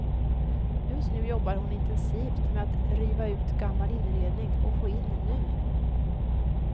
Just nu jobbar hon intensivt med att riva ut gammal inredning och få in ny.